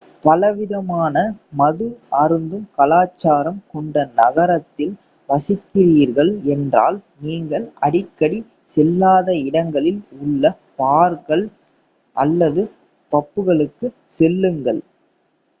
பலவிதமான மது அருந்தும் கலாச்சாரம் கொண்ட நகரத்தில் வசிக்கிறீர்கள் என்றால் நீங்கள் அடிக்கடி செல்லாத இடங்களில் உள்ள பார்கள் அல்லது பப்களுக்குச் செல்லுங்கள்